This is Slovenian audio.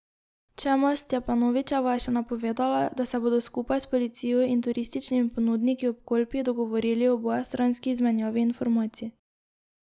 Čemas Stjepanovičeva je še napovedala, da se bodo skupaj s policijo in turističnimi ponudniki ob Kolpi dogovorili o obojestranski izmenjavi informacij.